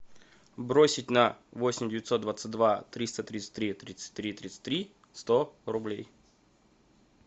бросить на восемь девятьсот двадцать два триста тридцать три тридцать три тридцать три сто рублей